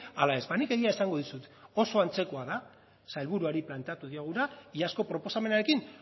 ala ez ba nik egia esango dizut oso antzekoa da sailburuari planteatu dioguna iazko proposamenarekin